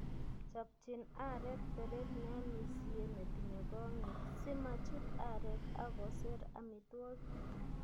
Chopchin areek teret neamisie netinye kong'ik simachut areek ak koseer amitwogik.